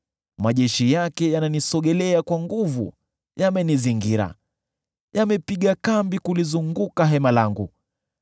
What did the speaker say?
Majeshi yake yananisogelea kwa nguvu; yamenizingira, yamepiga kambi kulizunguka hema langu.